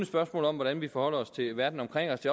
spørgsmål om hvordan vi forholder os til verden omkring os